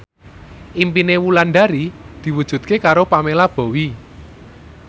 impine Wulandari diwujudke karo Pamela Bowie